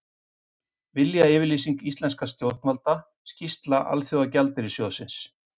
Viljayfirlýsing íslenskra stjórnvalda Skýrsla Alþjóðagjaldeyrissjóðsins